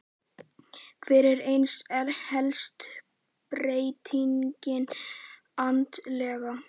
Hver er ein helsta breytingin andlega?